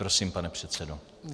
Prosím, pane předsedo.